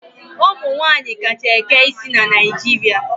Ụmụ nwaanyị kacha eke isi na Naijiria.